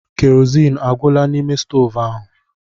Keroziin agwụla n'ime stoovu ahụ?